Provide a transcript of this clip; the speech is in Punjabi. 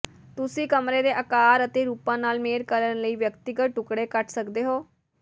ਤੁਸੀਂ ਕਮਰੇ ਦੇ ਆਕਾਰ ਅਤੇ ਰੂਪਾਂ ਨਾਲ ਮੇਲ ਕਰਨ ਲਈ ਵਿਅਕਤੀਗਤ ਟੁਕੜੇ ਕੱਟ ਸਕਦੇ ਹੋ